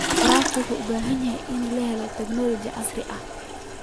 Waraabka wuxuu u baahan yahay inuu helo tignoolajiyada casriga ah.